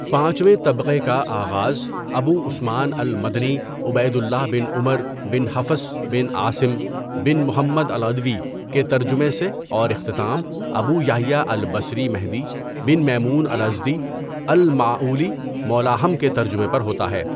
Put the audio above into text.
پانچویں طبقہ کا آغاز ابو عثمان المدنی عبید اللہ بن عمر بن حفص بن عاصم بن محمد العدوی کے ترجمہ سے اور اختتام ابو یحییٰ البصری مہدی بن میمون الازدی المعولی مولاھم کے ترجمہ پر ہوتا ہے.